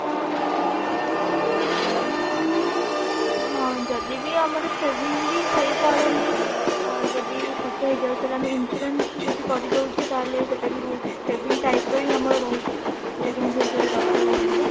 ହଁ ଯଦି ବି ଆମର saving ବି ହେଇ ପାରୁନି ଅ ଯଦି ଖର୍ଚ ହେଇ ଯାଏ ତାହେଲେ ଆମେ insurance ଯଦି କରିଦଉଛେ ତାହେଲେ ସେଟା ବି ବହୁତ saving type ର ହିଁ ଆମର ରହୁଛି ଯୋଉଟା କି ଆମକୁ future ରେ ଦରକାର ଆସିବ